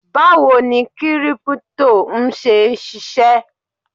Báwo ni Kírípútò ń ṣe ṣisẹ́?